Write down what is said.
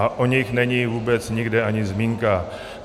A o nich není vůbec nikde ani zmínka.